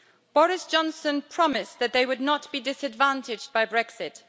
Boris Johnson promised that they would not be disadvantaged by Brexit.